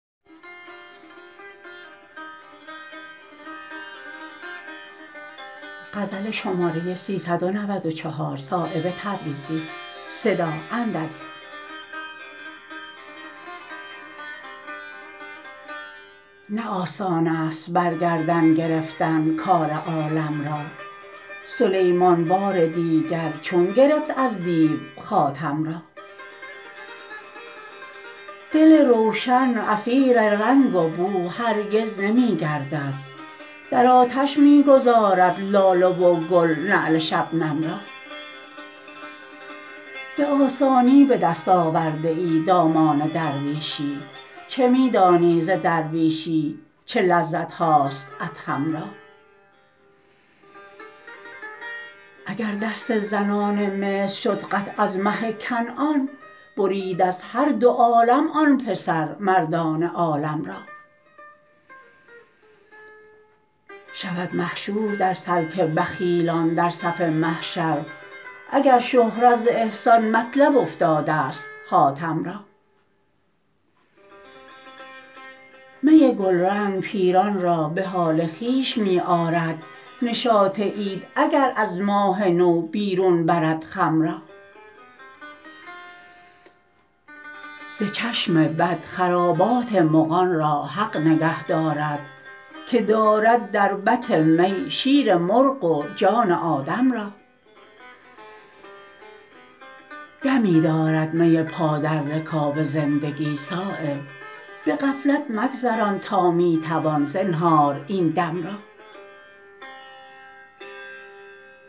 نه آسان است بر گردن گرفتن کار عالم را سلیمان بار دیگر چون گرفت از دیو خاتم را دل روشن اسیر رنگ و بو هرگز نمی گردد در آتش می گذارد لاله و گل نعل شبنم را به آسانی به دست آورده ای دامان درویشی چه می دانی ز درویشی چه لذتهاست ادهم را اگر دست زنان مصر شد قطع از مه کنعان برید از هر دو عالم آن پسر مردان عالم را شود محشور در سلک بخیلان در صف محشر اگر شهرت ز احسان مطلب افتاده است حاتم را می گلرنگ پیران را به حال خویش می آرد نشاط عید اگر از ماه نو بیرون برد خم را ز چشم بد خرابات مغان را حق نگه دارد که دارد در بط می شیر مرغ و جان آدم را دمی دارد می پا در رکاب زندگی صایب به غفلت مگذران تا می توان زنهار این دم را